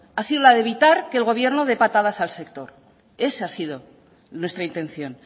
ha sido la de evitar que el gobierno de patadas al sector esa ha sido nuestra intención